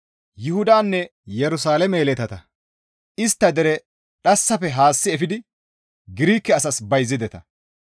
Yuhudanne Yerusalaame yeletata istta dere dhassafe haassi efidi Girike asas bayzideta.